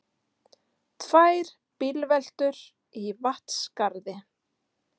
Tvær bílveltur í Vatnsskarði